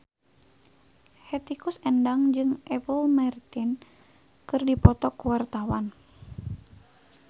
Hetty Koes Endang jeung Apple Martin keur dipoto ku wartawan